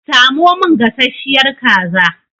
Samo min gasashiyar kaza!